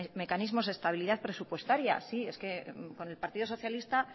mecanismos de estabilidad presupuestaria sí es que con el partido socialista